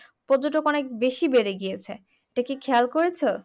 পর্যটক অনেক বেশি ভরে গিয়েছে এটা কি খেয়াল করেছো?